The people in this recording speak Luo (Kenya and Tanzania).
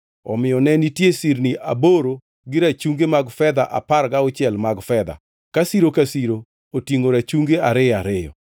Omiyo ne nitie sirni aboro gi rachungi mag fedha apar gauchiel mag fedha, ka siro ka siro otingʼo rachungi ariyo ariyo.